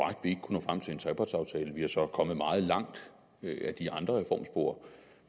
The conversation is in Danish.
nå frem til en trepartsaftale vi er så kommet meget langt ad de andre reformspor